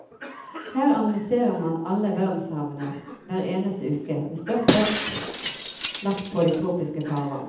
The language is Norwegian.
Her analyserer man alle verdenshavene hver eneste uke, med størst vekt lagt på de tropiske farvann.